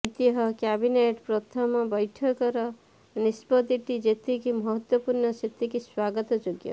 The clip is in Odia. ଐତିହ୍ୟ କ୍ୟାବିନେଟ୍ର ପ୍ରଥମ ବୈଠକର ନିଷ୍ପତ୍ତିଟି ଯେତିିକି ମହତ୍ତ୍ବପୂର୍ଣ୍ଣ ସେତିକି ସ୍ବାଗତଯୋଗ୍ୟ